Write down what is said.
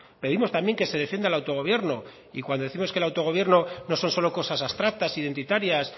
pedimos también que se defienda el autogobierno y cuando décimos que el autogobierno no son solo cosas abstractas identitarias